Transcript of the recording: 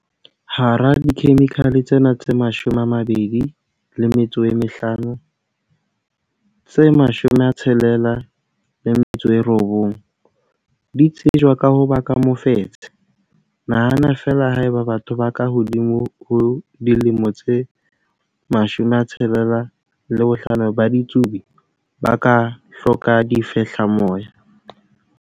Hara dikhemikhale tsena tse 250, tse 69 di tsejwa ka ho baka mofetshe. Nahana feela haeba batho ba ka hodimo ho dilemo tse 65 ba ditsubi, ba ka hloka difehlamoya.